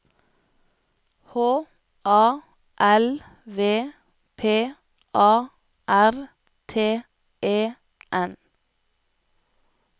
H A L V P A R T E N